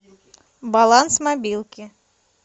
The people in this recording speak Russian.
баланс мобилки